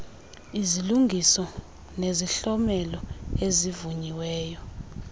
izilungiso nezihlomelo ezivunyiweyo